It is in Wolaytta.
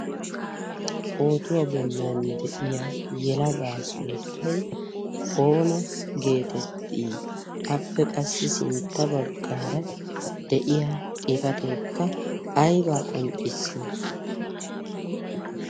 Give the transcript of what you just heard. pootuwaa bollan de7iya yelagaa sunttai oona geetettii appe qassi sintta baggaara de7iya xifateekka aibaa qonccissi